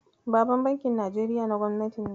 Baban bankin Najeriya na Gobnati ne.